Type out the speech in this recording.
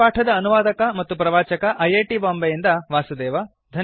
ಈ ಪಾಠದ ಅನುವಾದಕ ಮತ್ತು ಪ್ರವಾಚಕ ಐ ಐ ಟಿ ಬಾಂಬೆಯಿಂದ ವಾಸುದೇವ